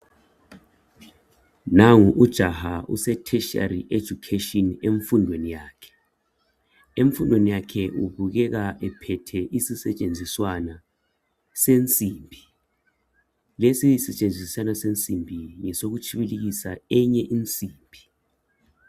Nangu ujaha use"Tertiary education " emfundweni yakhe. Emfundweni yakhe ubukekeka ethwele isisetshenziswana esensimbi. Lesi sisetshenziswana sensimbi ngesokutshibilikisa enye insimbi.